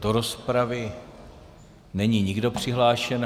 Do rozpravy není nikdo přihlášen.